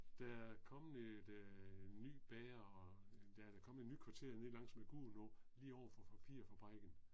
Der er kommet et øh ny bager og der er kommet et nyt kvarter nede lang med Gudenåen lige overfor papirfabrikken